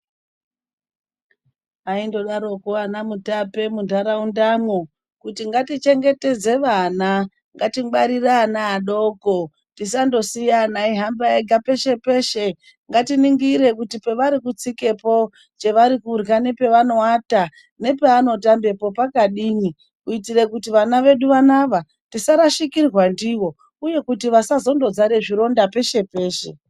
Vaingodaro ko ana mutape mundaraunda umo kuti ngatichengetedze vana ngatingwarire ana adoko tisangosiya ana eihamba ega peshe peshe katiningire kuti pavarikutsikapo chevari kurya nepavanoata nepavanotambapo pakadini kuitira kuti vana vedu vanava tisarashikirwa ndivo uye vasangozara maronda.